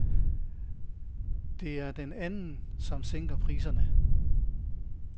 Det er den anden, som sænker priserne.